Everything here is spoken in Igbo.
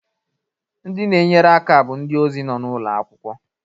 Ndị na-enyere aka bụ ndị ozi nọ n'ụlọ akwụkwọ